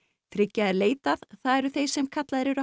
þriggja er leitað það eru þeir sem kallaðir eru